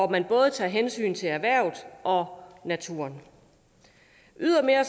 man både tager hensyn til erhvervet og naturen ydermere